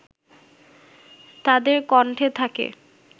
তাদের কণ্ঠে থাকে